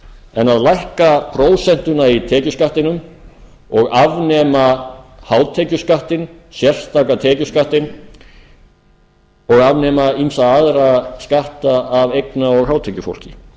en að lækka prósentuna í tekjuskattinum og afnema hátekjuskattinn sérstaka tekjuskattinn og afnema ýmsa aðra skatta af eigna og hátekjufólki